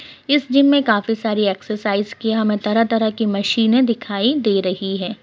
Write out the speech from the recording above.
इस जिम में काफी सारी एक्सरसाइज़ की हमें तरह-तरह की मशीने दिखाई दे रही है।